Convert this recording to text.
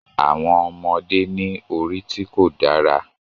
Àwọn ọmọdé ní orí tí kò dára